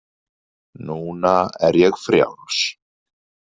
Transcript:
Núna er ég frjáls.